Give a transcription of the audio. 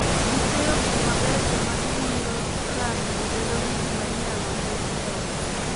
Gi chweyo gik mabecho ma giwiro rangi to bedo gik ma inyalo ket e ot